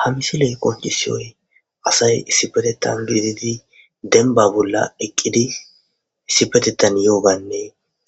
Ha missile qoncisiyo asayi issipeteta giddidi demba bolla eqqidi issipetetan yo bane